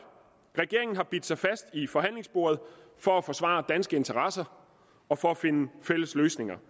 regeringen har bidt sig fast i forhandlingsbordet for at forsvare danske interesser og for at finde fælles løsninger